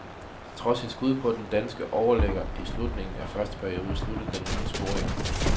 Trods et skud på den danske overligger i slutningen af første periode, sluttede den uden scoringer.